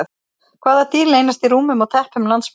Hvaða dýr leynast í rúmum og teppum landsmanna?